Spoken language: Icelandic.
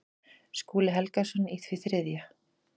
Skúli Helgason í því þriðja.